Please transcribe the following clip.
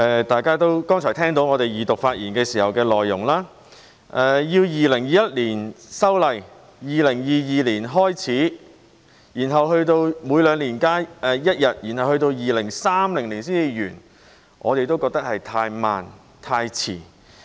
大家剛才聽到我們在二讀發言時表示，如果在2021年修例、2022年開始每兩年增加一天假期，然後到了2030年才完成增加5天假期，我們覺得是太慢、太遲。